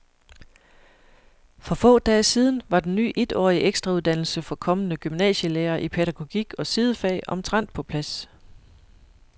For få dage siden var den ny etårige ekstrauddannelse for kommende gymnasielærere i pædagogik og sidefag omtrent på plads.